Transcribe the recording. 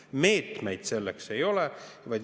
Meetmeid selleks ei ole.